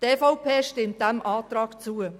Die EVP stimmt diesem Antrag zu.